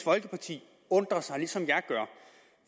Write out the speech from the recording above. folkeparti undrer sig ligesom jeg gør